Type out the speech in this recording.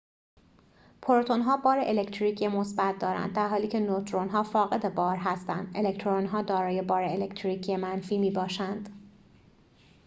پروتون‌ها بار الکتریکی مثبت دارند درحالی که نوترون‌ها فاقد بار هستند الکترون‌ها دارای بار الکتریکی منفی می‌باشند